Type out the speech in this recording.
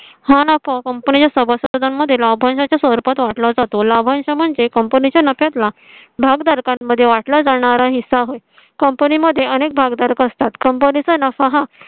हा नफा company च्या सभासदां मध्ये लाभांशा च्या स्वरूपात वाटला जातो. लाभांश म्हणजे company च्या नफ्यात ला भागधारकांमध्ये वाट ला जाणारा हिस्सा होईल. company मध्ये अनेक भागीदार असतात. company चा नफा हा